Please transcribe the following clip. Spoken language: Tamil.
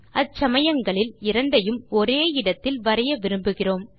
அச்சமயங்களில் இரண்டையும் ஒரே இடத்தில் வரைய விரும்புகிறோம்